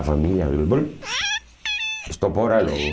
A família...